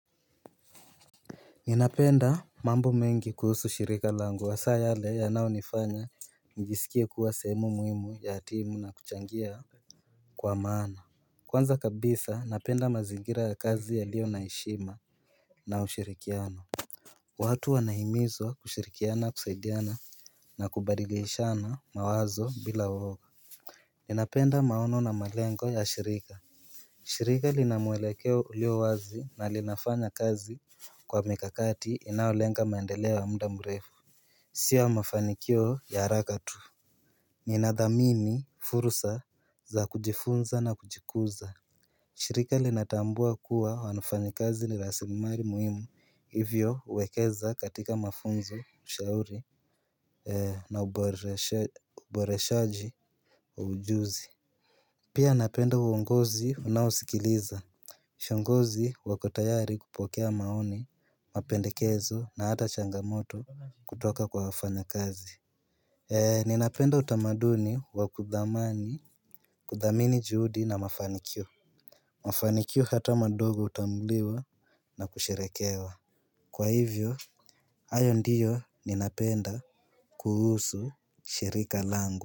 Ninapenda mambo mengi kuhusu shirika langu hasa yale yanaonifanya njisikie kuwa sehemu muhimu ya timu na kuchangia. Kwa maana kwanza kabisa napenda mazingira ya kazi yalio na heshima na ushirikiano. Watu wanahimizwa kushirikiana kusaidiana na kubadilishana mawazo bila uoga. Ninapenda maono na malengo ya shirika. Shirika lina mwelekeo ulio wazi na linafanya kazi kwa mikakati inayolenga maendeleo wa muda mrefu. Si ya mafanikio ya haraka tu. Nina dhamini furusa za kujifunza na kujikuza. Shirika linatambua kuwa wafanyi kazi ni rasilimali muhimu hivyo huwekeza katika mafunzo ushauri na uboreshaji wa ujuzi. Pia napenda uongozi unaosikiliza viongozi wako tayari kupokea maoni, mapendekezo na hata changamoto kutoka kwa wafanya kazi. Eee, ninapenda utamaduni wa kudhamani, kudhamini juhudi na mafanikio. Mafanikio hata madogo hutambuliwa na kusherehekewa. Kwa hivyo, hayo ndiyo ninapenda kuhusu shirika langu.